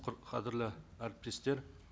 қадірлі әріптестер